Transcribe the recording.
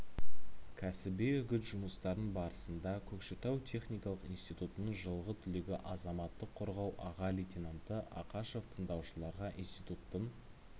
кәсіби-үгіт жұмыстарын барысында көкшетау техникалық институтының жылғы түлегі азаматтық қорғау аға лейтенанты ақашев тыңдаушыларға институттын